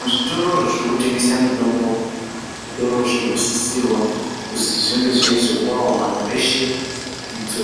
Muzvitoro zvirikutengese mitombo zvitoro zvirikusisirwa kuzi zvinge zveizopavo vantu eshe idzo